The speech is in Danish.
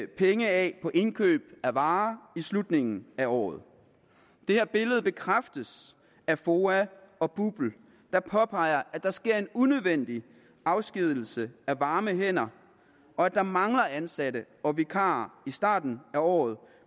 penge af på indkøb af varer i slutningen af året det her billede bekræftes af foa og bupl der påpeger at der sker en unødvendig afskedigelse af varme hænder og at der mangler ansatte og vikarer i starten af året